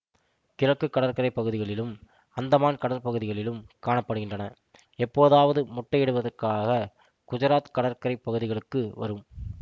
கிழக்கு கடற்கரை பகுதிகளிலும் அந்தமான் கடற்பகுதிகளிலும் காணப்படுகின்றனஎப்போதாவது முட்டையிடுவதற்காக குஜராத் கடற்கரை பகுதிகளுக்கு வரும்